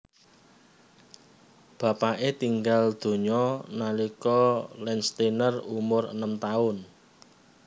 Bapake tinggal donya nalika Landsteiner umur enem taun